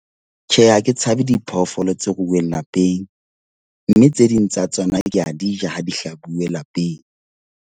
Tjhe, ha ke tshabe diphoofolo tse ruuweng lapeng. Mme tse ding tsa tsona ke a di ja, ha di hlabuwe lapeng.